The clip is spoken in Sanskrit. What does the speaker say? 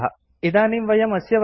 इदानीं वयम् अस्य वर्गस्य अन्ते स्मः